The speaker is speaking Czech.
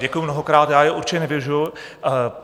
Děkuju mnohokrát, já je určitě nevyužiju.